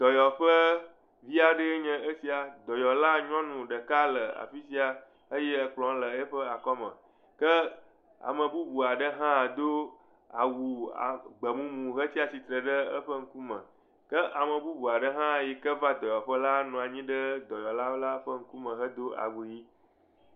Dɔyɔƒe fia ɖe nye esia. Dɔyɔla nyɔnu ɖeka le afisia eye ekple le eƒe akɔme ke ame bubu aɖe hã do awu gbemumu hetsia tsitre ɖe eƒe ŋkume. Ke ame bubu yike va dɔyɔƒea la nɔ anyi ɖe dɔnɔwo ƒe ŋkume he do awu ɣi.